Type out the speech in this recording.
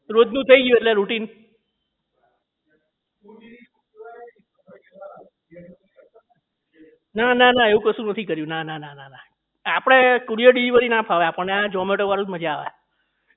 રોજનું થઈ ગયું એટલે રૂટિન નાના નાના એવું કશું નથી કર્યું નાના નાના આપડે courier delivery ના ફાવે આપણને zomato વાળું જ મજા આવે